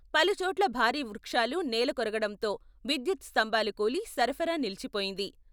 పలుచోట్ల భారీ వృక్షాలు నేలకొరగడంతో విద్యుత్ స్తంభాలు కూలి సరఫరా నిలిచిపోయింది.